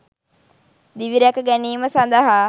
දිවිරැක ගැනීම සඳහා